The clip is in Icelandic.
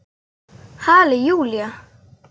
Halli Júlía!